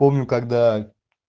помню когда